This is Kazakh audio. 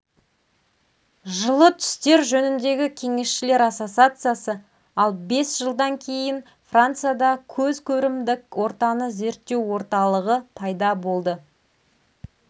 жылы түстер жөніндегі кеңесшілер ассоциациясы ал бес жылдан кейін францияда көз көрімдік ортаны зерттеу орталығы пайда болды